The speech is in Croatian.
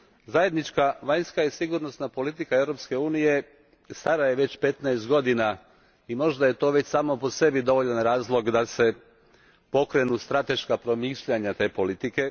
Zajednička vanjska i sigurnosna politika Europske unije stara je već petnaest godina i možda je to već samo po sebi dovoljan razlog da se pokrenu strateška promišljanja te politike.